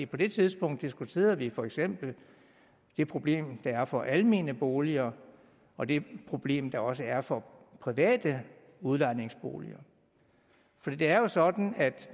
på det tidspunkt diskuterede vi for eksempel det problem der er for almene boliger og det problem der også er for private udlejningsboliger for det er jo sådan